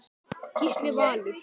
Gísli Valur.